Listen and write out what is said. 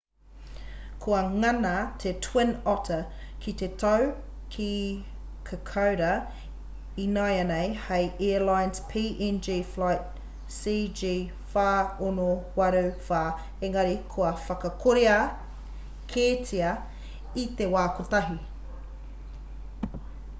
kua ngana te twin otter ki te tau ki kokoda inanahi hei airlines png flight cg4684 engari kua whakakorea kētia i te wā kotahi